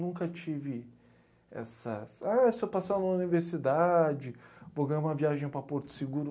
Nunca tive essas, ah, se eu passar numa universidade, vou ganhar uma viagem para Porto Seguro.